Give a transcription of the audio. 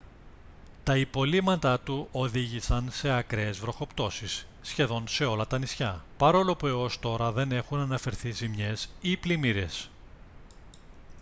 τα υπολείμματά του οδήγησαν σε ακραίες βροχοπτώσεις σχεδόν σε όλα τα νησιά παρόλο που έως τώρα δεν έχουν αναφερθεί ζημιές ή πλημμύρες